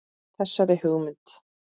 Þessari hugmynd